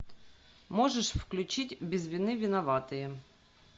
можешь включить без вины виноватые